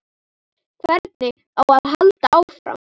Hvernig á að halda áfram?